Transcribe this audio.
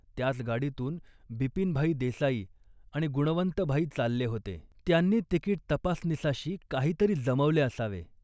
त्याच गाडीतून बिपिनभाई देसाई आणि गुणवंतभाई चालले होते. त्यांनी तिकीट तपासनिसाशी काहीतरी जमवले असावे